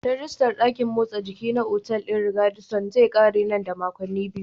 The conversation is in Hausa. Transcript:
Rijistar dakin motsa jiki na a otal ɗin Radisson zai ƙare nan da makonni biyu.